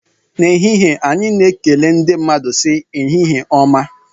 N'ehihie anyị na-ekele ndị mmadụ sị "ehihie ọma"